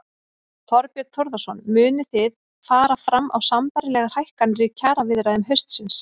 Þorbjörn Þórðarson: Munið þið fara fram á sambærilegar hækkanir í kjaraviðræðum haustsins?